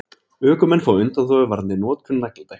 Ökumenn fá undanþágu varðandi notkun nagladekkja